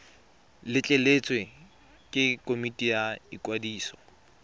letleletswe ke komiti ya ikwadiso